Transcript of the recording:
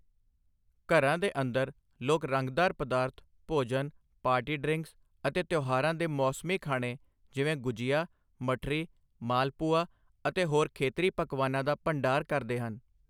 ਘਰਾਂ ਦੇ ਅੰਦਰ, ਲੋਕ ਰੰਗਦਾਰ ਪਦਾਰਥ, ਭੋਜਨ, ਪਾਰਟੀ ਡ੍ਰਿੰਕਸ ਅਤੇ ਤਿਉਹਾਰਾਂ ਦੇ ਮੌਸਮੀ ਖਾਣੇ ਜਿਵੇਂ ਗੁਜੀਆ, ਮਠਰੀ, ਮਾਲਪੁਆ ਅਤੇ ਹੋਰ ਖੇਤਰੀ ਪਕਵਾਨਾਂ ਦਾ ਭੰਡਾਰ ਕਰਦੇ ਹਨ।